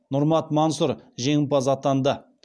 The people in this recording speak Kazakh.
нұрмат мансұр жеңімпаз атанды